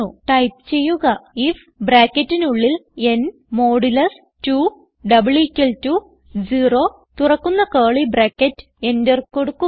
type ചെയ്യുക I F enter കൊടുക്കുക